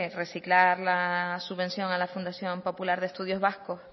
reciclar la subvención a la fundación popular de estudios vascos